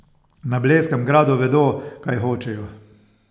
Na Blejskem gradu vedo, kaj hočejo!